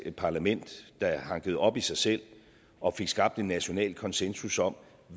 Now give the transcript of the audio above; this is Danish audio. parlament der hankede op i sig selv og fik skabt en national konsensus om